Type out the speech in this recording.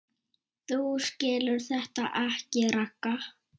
Þú skilur þetta ekki, Ragga.